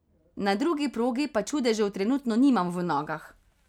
Na drugi progi pa čudežev trenutno nimam v nogah.